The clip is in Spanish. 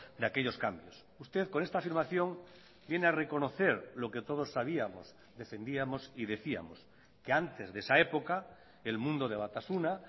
de aquellos cambios usted con esta afirmación viene a reconocer lo que todos sabíamos defendíamos y decíamos que antes de esa época el mundo de batasuna